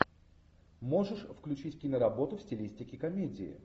можешь включить киноработу в стилистике комедии